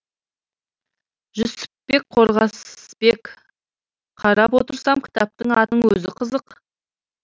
жүсіпбек қорғасбек қарап отырсам кітаптың атының өзі қызық